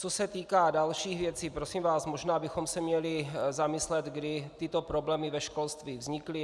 Co se týká dalších věcí, prosím vás, možná bychom se měli zamyslet, kdy tyto problémy ve školství vznikly.